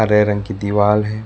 हरे रंग की दीवाल है।